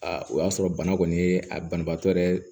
o y'a sɔrɔ bana kɔni ye a banabaatɔ yɛrɛ